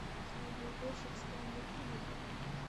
снегоуборщик стэнли кубрика